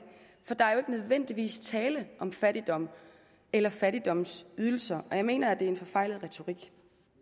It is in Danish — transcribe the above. nødvendigvis tale om fattigdom eller fattigdomsydelser jeg mener at det er en forfejlet retorik